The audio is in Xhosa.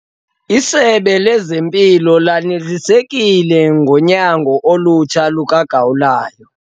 Isebe lezempilo lanelisekile ngonyango olutsha lukagawulayo.